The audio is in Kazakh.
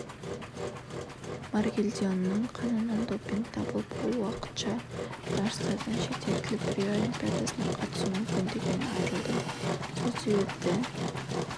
маргелдионның қанынан допинг табылып ол уақытша жарыстардан шеттетіліп рио олимпиадасына қатысу мүмкіндігінен айырылды сол себепті